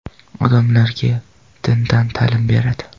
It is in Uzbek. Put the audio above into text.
Odamlarga dindan ta’lim beradi.